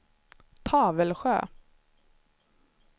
Tavelsjö